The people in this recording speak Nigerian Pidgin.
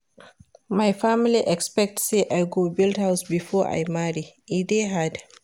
My family expect say I go build house before I marry, e dey hard.